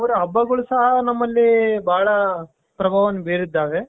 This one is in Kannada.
ಹಬ್ಬಗಳು ಸಹ ನಮ್ಮಲ್ಲಿ ಬಹಳ ಪ್ರಭಾವವನ್ನ ಬೀರಿದ್ದಾವೆ .